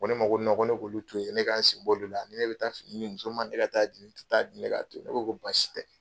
A ko ne ma ko ko ne ka olu to yen, ne ka sen b'olu la, ni ne bi taa fini di muso ma, ne ka taa, ni n ti taa di, ne k'a to yen, ne ko basi tɛ